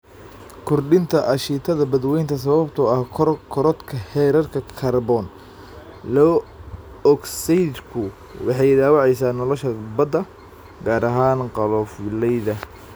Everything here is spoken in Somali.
Kordhinta aashitada badweynta sababtoo ah korodhka heerarka kaarboon laba ogsaydhku waxay dhaawacaysaa nolosha badda, gaar ahaan qolofleyda.